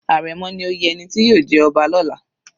Àrẹ̀mọ ni oyè ẹni tí yóò jẹ ọba lọla.